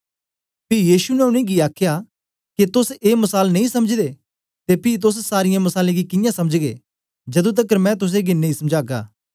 पी यीशु ने उनेंगी आखया के तोस ए मसाल नेई समझदे ते पी तोस सारीयें मसालें गी कियां समझगे जदूं तकर मैं तुसेंगी नेई समझागा